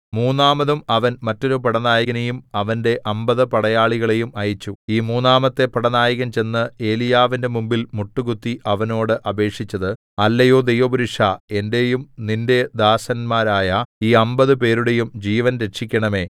മൂന്നാമതും അവൻ മറ്റൊരു പടനായകനേയും അവന്റെ അമ്പത് പടയാളികളെയും അയച്ചു ഈ മൂന്നാമത്തെ പടനായകൻ ചെന്ന് ഏലീയാവിന്റെ മുമ്പിൽ മുട്ടുകുത്തി അവനോട് അപേക്ഷിച്ചത് അല്ലയോ ദൈവപുരുഷാ എന്റെയും നിന്റെ ദാസന്മാരായ ഈ അമ്പത് പേരുടെയും ജീവൻ രക്ഷിക്കേണമെ